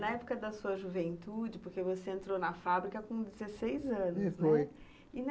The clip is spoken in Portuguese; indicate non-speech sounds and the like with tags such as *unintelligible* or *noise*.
Na época da sua juventude, porque você entrou na fábrica com dezesseis anos, né? Foi. E na *unintelligible*